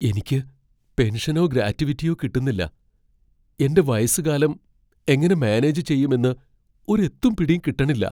എനിക്ക് പെൻഷനോ ഗ്രാറ്റുവിറ്റിയോ കിട്ടുന്നില്ല, എന്റെ വയസ്സുകാലം എങ്ങനെ മാനേജ് ചെയ്യുമെന്ന് ഒരു എത്തും പിടീം കിട്ടണില്ലാ .